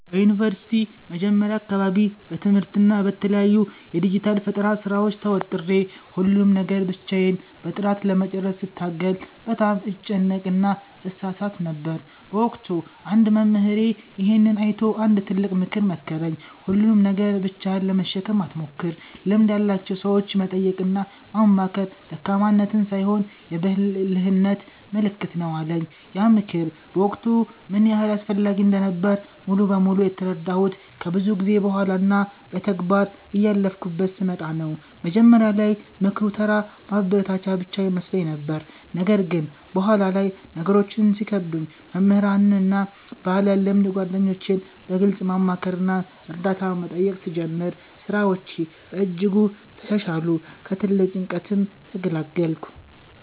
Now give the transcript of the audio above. በዩኒቨርሲቲ መጀመሪያ አካባቢ በትምህርትና በተለያዩ የዲጂታል ፈጠራ ሥራዎች ተወጥሬ፣ ሁሉንም ነገር ብቻዬን በጥራት ለመጨረስ ስታገል በጣም እጨነቅና እሳሳት ነበር። በወቅቱ አንድ መምህሬ ይሄንን አይቶ አንድ ትልቅ ምክር መከረኝ፦ "ሁሉንም ነገር ብቻህን ለመሸከም አትሞክር፤ ልምድ ያላቸውን ሰዎች መጠየቅና ማማከር ደካማነት ሳይሆን የብልህነት ምልክት ነው" አለኝ። ያ ምክር በወቅቱ ምን ያህል አስፈላጊ እንደነበረ ሙሉ በሙሉ የተረዳሁት ከብዙ ጊዜ በኋላ እና በተግባር እያለፍኩበት ስመጣ ነው። መጀመሪያ ላይ ምክሩ ተራ ማበረታቻ ብቻ ይመስለኝ ነበር። ነገር ግን በኋላ ላይ ነገሮች ሲከብዱኝ መምህራንን እና ባለልምድ ጓደኞቼን በግልጽ ማማከርና እርዳታ መጠየቅ ስጀምር፣ ሥራዎቼ በእጅጉ ተሻሻሉ፤ ከትልቅ ጭንቀትም ተገላገልኩ።